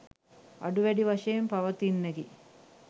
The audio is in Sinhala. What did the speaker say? අඩු වැඩි වශයෙන් පවතින්නකි.